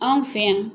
Anw fɛ yan